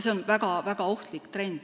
See on tegelikult väga ohtlik trend.